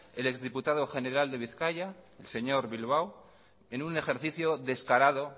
el exdiputado general de bizkaia el señor bilbao en un ejercicio descarado